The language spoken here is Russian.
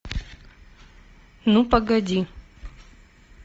ну погоди